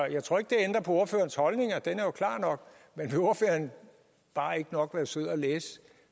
jeg tror ikke det ændrer på ordførerens holdning den er jo klar nok men vil ordføreren bare ikke nok være sød at læse